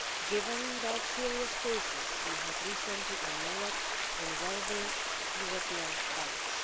given the serious cases we recently had in Europe involving European banks.